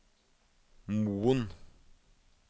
Moen